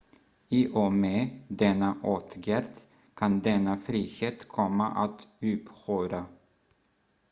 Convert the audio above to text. i och med denna åtgärd kan denna frihet komma att upphöra